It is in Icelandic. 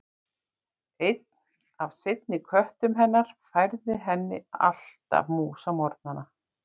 Einn af seinni köttum hennar færði henni alltaf mús á morgnana.